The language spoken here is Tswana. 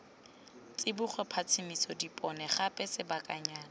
tsiboge phatsimisa dipone gape sebakanyana